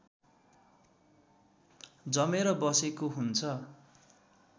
जमेर बसेको हुन्छ